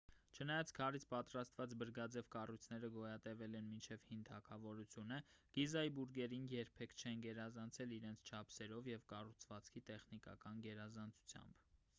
չնայած քարից պատրաստված բրգաձև կառույցները գոյատևել են մինչև հին թագավորությունը գիզայի բուրգերին երբեք չեն գերազանցել իրենց չափսերով և կառուցվածքի տեխնիկական գերազանցությամբ